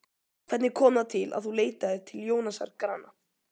Hvernig kom það til að þú leitaðir til Jónasar Grana?